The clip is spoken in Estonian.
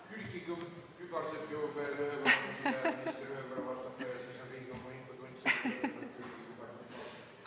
Külliki Kübarsepp jõuab veel ühe küsimuse küsida ja minister vastata ning siis on Riigikogu infotund läbi.